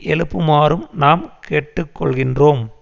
எழுப்புமாறும் நாம் கேட்டுக்கொள்கின்றோம்